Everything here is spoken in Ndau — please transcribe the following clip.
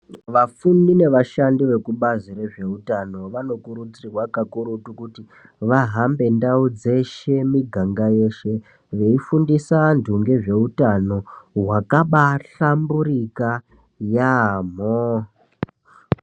Vafundi nevashandi vekubazi rezveutano vanokurudzirwa kakurutu kuti vahambe ndau dzeshe miganga yeshe. Veifundisa antu ngezveutano hwakabahlamburika yaamho.